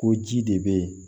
Ko ji de bɛ yen